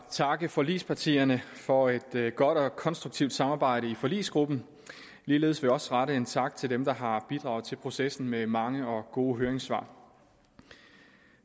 at takke forligspartierne for et godt og konstruktivt samarbejde i forligskredsen ligeledes vil jeg også rette en tak til dem der har bidraget til processen med mange og gode høringssvar